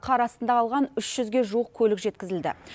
қар астында қалған үш жүзге жуық көлік жеткізілді